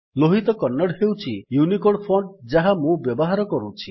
ଲୋହିତ କନ୍ନଡ଼ ହେଉଛି Unicode font ଯାହା ମୁଁ ବ୍ୟବହାର କରୁଛି